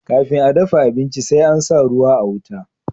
kafin a dafa abinci sai an sa ruwa a wuta